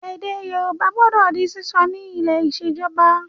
Èdè Yorùbá gbọdọ di sísọ ni ilé ìṣèjọba